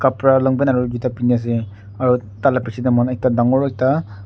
kapra long pant aro gitap peni ase aro taila pichete mahan ekta dangor ekta--